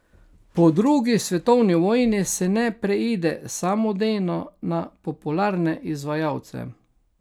Po drugi svetovni vojni se ne preide samodejno na popularne izvajalce.